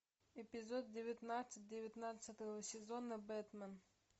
эпизод девятнадцать девятнадцатого сезона бэтмен